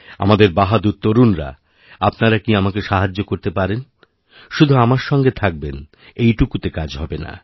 আমার বাহাদুর তরুণরা আপনারা কি আমাকে সাহায্য করতে পারেন শুধু আমারসঙ্গে থাকবেন এইটুকুতে কাজ হবে না